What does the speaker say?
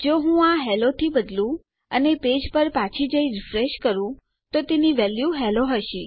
જો હું આ હેલ્લો થી બદલું અને આપણા પેજ પર પાછી જઈ રીફ્રેશ કરું તો તેની વેલ્યુ હેલ્લો હશે